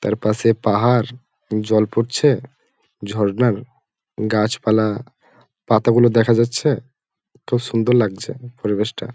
তারপাশে পাহাড় জল পড়ছে ঝর্ণার গাছপালা পাতা গুলো দেখা যাচ্ছে খুব সুন্দর লাগছে পরিবেশ টা।